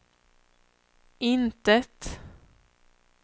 intet